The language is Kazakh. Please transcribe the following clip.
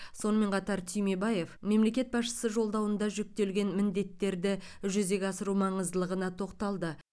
сонымен қатар түймебаев мемлекет басшысы жолдауында жүктелген міндеттерді жүзеге асыру маңыздылығына тоқталды